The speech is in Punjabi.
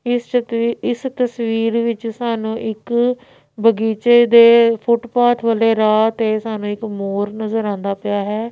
ਇਸ ਚਕਵੀ ਇਸ ਤਸਵੀਰ ਵਿੱਚ ਸਾਨੂੰ ਇੱਕ ਬਗੀਚੇ ਦੇ ਫੁੱਟਪਾਥ ਵਾਲੇ ਰਾਹ ਤੇ ਸਾਨੂੰ ਇੱਕ ਮੋਰ ਨਜ਼ਰ ਆਉਂਦਾ ਪਿਆ ਹੈ।